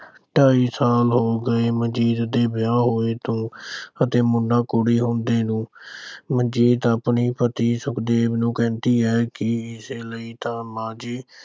ਢਾਈ ਸਾਲ ਹੋ ਗਏ ਮਨਜੀਤ ਦੇ ਵਿਆਹ ਹੋਏ ਤੋਂ ਅਤੇ ਮੁੰਡਾ ਕੁੜੀ ਹੁੰਦੇ ਨੂੰ। ਮਨਜੀਤ ਆਪਣੇ ਪਤੀ ਸੁਖਦੇਵ ਨੂੰ ਕਹਿੰਦੀ ਹੈ ਕਿ ਇਸੇ ਲਈ ਤਾਂ ਮਾਂ ਜੀ